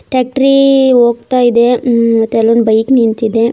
ಟ್ಯಾಕ್ಟ್ರಿ ಹೋಗ್ತಾ ಇದೆ ಹ್ಮ್ಮ್ ಮತ್ತೆ ಅಲ್ಲೊಂದ್ ಬೈಕ್ ನಿಂತಿದೆ.